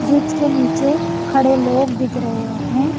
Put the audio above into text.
Bridge के नीचे खड़े लोग दिख रहे हैं।